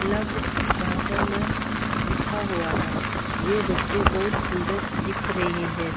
अलग भाषा में लिखा हुआ हैं ये बच्चे बहुत सुंदर दिख रहे हैं ।